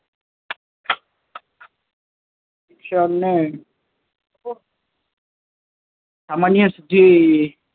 શિક્ષણ ને સામાન્ય સીધી